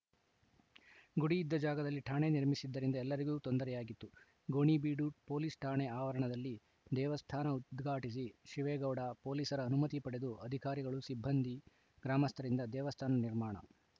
ಗುಡಿಯಿದ್ದ ಜಾಗದಲ್ಲಿ ಠಾಣೆ ನಿರ್ಮಿಸಿದ್ದರಿಂದ ಎಲ್ಲರಿಗೂ ತೊಂದರೆಯಾಗಿತ್ತು ಗೋಣಿಬೀಡು ಪೊಲೀಸ್‌ ಠಾಣೆ ಆವರಣದಲ್ಲಿ ದೇವಸ್ಥಾನ ಉದ್ಘಾಟಿಸಿ ಶಿವೇಗೌಡ ಪೊಲೀಸರ ಅನುಮತಿ ಪಡೆದು ಅಧಿಕಾರಿಗಳು ಸಿಬ್ಬಂದಿ ಗ್ರಾಮಸ್ಥರಿಂದ ದೇವಸ್ಥಾನ ನಿರ್ಮಾಣ